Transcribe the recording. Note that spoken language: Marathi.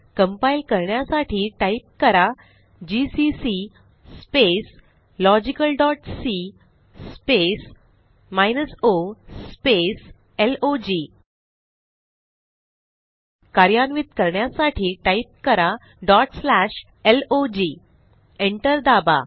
कंपाइल करण्यासाठी टाईप करा जीसीसी logicalसी o लॉग कार्यान्वित करण्यासाठी टाईप करा log एंटर दाबा